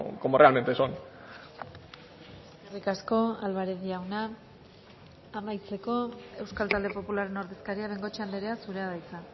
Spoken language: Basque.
como realmente son eskerrik asko alvarez jauna amaitzeko euskal talde popularren ordezkaria bengoechea andrea zurea da hitza